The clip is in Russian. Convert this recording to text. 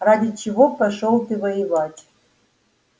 ради чего пошёл ты воевать